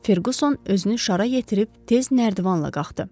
Ferquson özünü şara yetirib tez nərdivanla qalxdı.